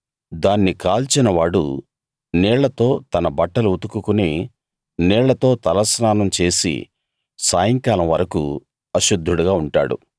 దాన్ని కాల్చినవాడు నీళ్లతో తన బట్టలు ఉతుకుకుని నీళ్లతో తలస్నానం చేసి సాయంకాలం వరకూ అశుద్ధుడుగా ఉంటాడు